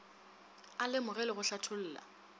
a lemoge le go hlatholla